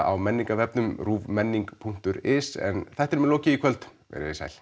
á menningarvefnum ruvmenning punktur is en þættinum er lokið í kvöld veriði sæl